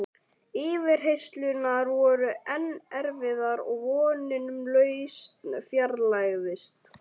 Yfirheyrslurnar voru enn erfiðar og vonin um lausn fjarlægðist.